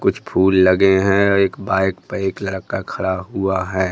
कुछ फूल लगे हैं अ एक बाइक पे एक लड़का खड़ा हुआ है।